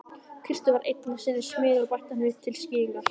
Kristur var einu sinni smiður bætti hann við til skýringar.